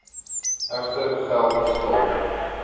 egter geld skuld